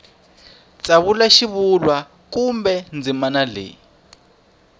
tsavula xivulwa kumbe ndzimana leyi